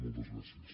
moltes gràcies